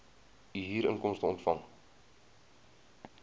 u huurinkomste ontvang